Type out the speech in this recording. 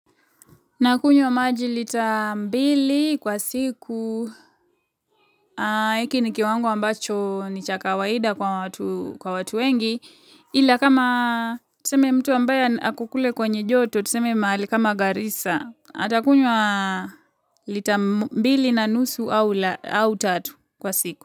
Nakunywa maji lita mbili kwa siku. Hiki ni kiwango ambacho ni chaka kawaida kwa watu wengi. Ila kama tuseme mtu ambaya ako kule kwenye joto tuseme mahali kama garisa. Atakunywa lita mbili na nusu au tatu kwa siku.